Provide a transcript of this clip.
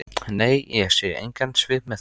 Nei, ég sé engan svip með þeim.